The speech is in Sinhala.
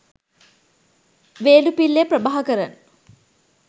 වේළුපිල්ලේ ප්‍රභාකරන්